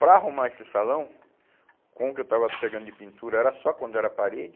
Para arrumar esse salão, com o que eu estava pegando de pintura, era só quando era parede,